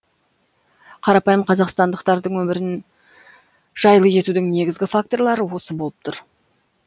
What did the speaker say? қарапайым қазақстандықтардың өмірін жайлы етудің негізгі факторлары осы болып тұр